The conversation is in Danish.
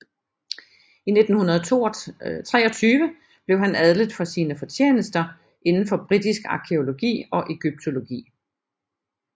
I 1923 blev han adlet for sine fortjenester indenfor britisk arkæologi og egyptologi